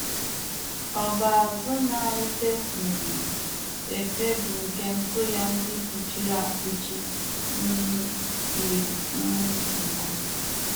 Ọ bụ azụ̀ na - efe um efe bụ́ nke ntù ya ndị fụchiri afụchi um yiri um nku.